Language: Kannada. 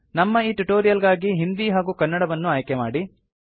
ನಮ್ಮ ಈ ಟ್ಯುಟೋರಿಯಲ್ ಗಾಗಿ ಹಿಂದಿ ಹಾಗೂ ಕನ್ನಡವನ್ನು ಆಯ್ಕೆಮಾಡಿ